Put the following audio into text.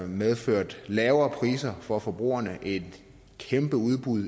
medført lavere priser for forbrugerne og et kæmpe udbud